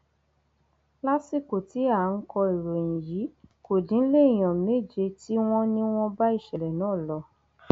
lásìkò tí à ń kọ ìròyìn yìí kò dín léèyàn méje tí wọn ní wọn bá ìṣẹlẹ náà lọ